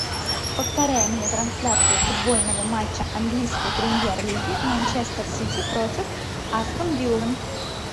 повторяй мне трансляцию футбольного матча английской премьер лиги манчестер сити против астон виллы